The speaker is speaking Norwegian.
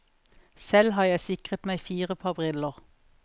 Selv har jeg sikret meg fire par briller.